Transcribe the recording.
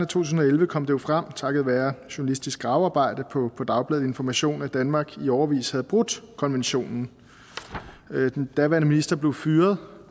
tusind og elleve kom det frem takket være journalistisk gravearbejde på dagbladet information at danmark i årevis havde brudt konventionen den daværende minister blev fyret